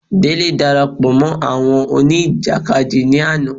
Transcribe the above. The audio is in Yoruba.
Délé darapọ̀ mọ́ àwọn òní ìjàkadì ní àná